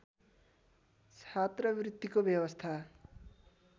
छात्रवृत्तिको व्यवस्था